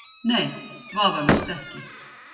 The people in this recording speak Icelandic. Nei, vafalaust ekki.